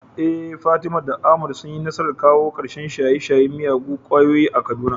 Eh Fatima da Ahmad sun yi nasarar shawo kan shaye-shayen miyagun ƙwayoyi a Kaduna.